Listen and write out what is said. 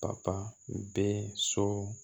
Papa bɛ so